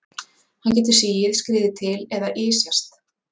Hann getur sigið, skriðið til eða ysjast.